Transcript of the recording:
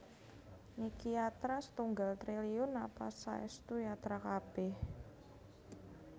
Niki yatra setunggal triliun napa saestu yatra kabeh